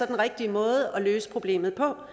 den rigtige måde at løse problemet på